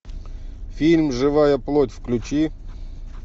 фильм живая плоть включи